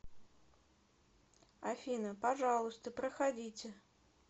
афина пожалуйста проходите